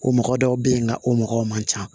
O mɔgɔ dɔw bɛ yen nka o mɔgɔw man ca